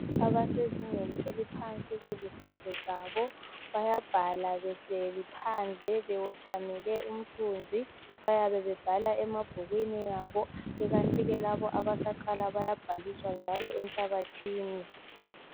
Abasezingeni eliphansi kwezemfundo zabo bayabhala behleli phandle bewothamele umthunzi bayabe bebhala emabhukwini abo kukanti ke labo abasaqala bayabhaliswa njalo enhlabathini